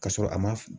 Ka sɔrɔ a ma